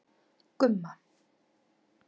Gumma